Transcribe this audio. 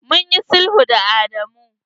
Mun yi sulhu da Adamu.